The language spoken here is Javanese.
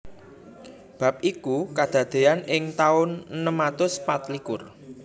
Bab iku kadadéyan ing taun enem atus patlikur